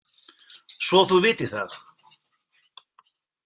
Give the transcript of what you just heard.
Svo þú vitir það.